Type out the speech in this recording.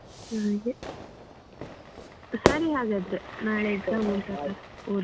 ಹಾಗೆ ಸರಿ ಹಾಗಾದ್ರೆ ನಾಳೆ exam ಉಂಟಲ್ವಾ ಓದುವ.